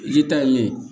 I k'i ta ye min ye